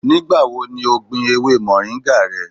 Nigbawo ni o gbin ewe moringa rẹ?